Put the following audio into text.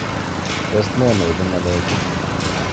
Tos ne neibu ng'alechu